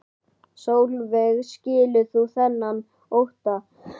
Sólveig: Skilur þú þennan ótta?